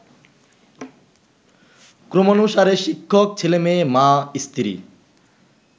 ক্রমানুসারে শিক্ষক, ছেলেমেয়ে, মা, স্ত্রী